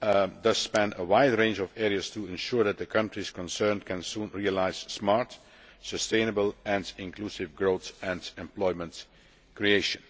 thus span a wide range of areas to ensure that the countries concerned can realise soon smart, sustainable and inclusive growth and employment creation.